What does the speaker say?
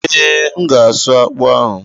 Ee, M ga-asụ akpụ ahụ.